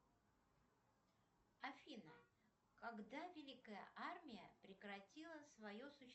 афина когда великая армия прекратила свое